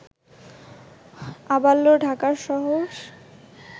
আবাল্য ঢাকার শহর